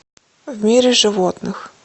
в мире животных